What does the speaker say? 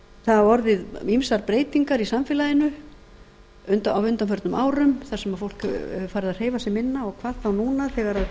hafa orðið ýmsar breytingar í samfélaginu á undanförnum árum þar sem fólk er farið að hreyfa sig minna og hvað þá núna þegar